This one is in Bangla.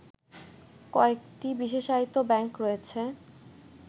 কয়েকটি বিশেষায়িত ব্যাংক রয়েছে